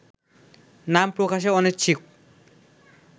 নাম প্রকাশে অনিচ্ছুক